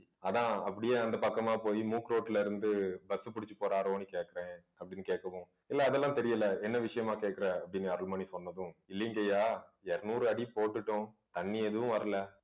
அதான் அப்படியே அந்த பக்கமா போய் மூக்குரோட்டிலே இருந்து bus பிடிச்சு போறாரோன்னு கேட்கிறேன் அப்படின்னு கேட்கவும் இல்லை அதெல்லாம் தெரியலே என்ன விஷயமா கேட்கிற அப்படின்னு அருள்மொழி சொன்னது இல்லைங்கய்யா இருநூறு அடி போட்டுட்டோம் தண்ணி எதுவும் வரலை